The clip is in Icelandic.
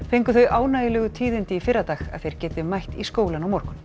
fengu þau ánægjulegu tíðindi í fyrradag að þeir geti mætt í skólann á morgun